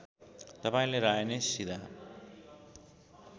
तपाईँले राय नै सिधा